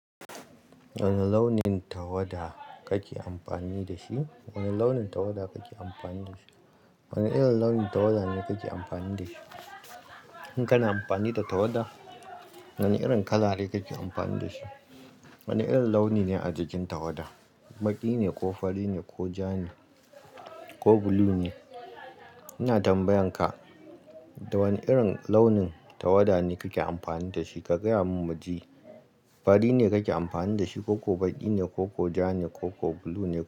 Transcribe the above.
Wane launin tawada kake amfani da shi? Wane launin tawada kake amfani da shi? Wane irin launin tawada ne kake amfani da shi? In kana amfani da tawada, wane irin kala ne kake amfani da shi? Wane irin launi ne a jikin tawada, baƙi ne ko fari ne ko ja ne ko blue ne? Ina tambayan ka, da wane irin launin tawada ne kake amfani da shi? Ka gaya min mu ji. Fari ne kake amfani da shi koko baƙi ne koko ja ne koko blue ne?